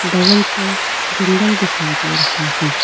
बगल पर जंगल दिखाई दे रहा है।